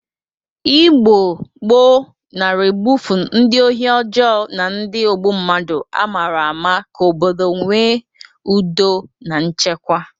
Igbo gboo nara egbufu ndị ohi ọjọọ na ndị ogbu mmadụ amara amara ka obodo nwe ụdọ na nchekwa.